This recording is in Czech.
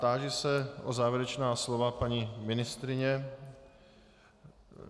Táži se na závěrečná slova paní ministryně.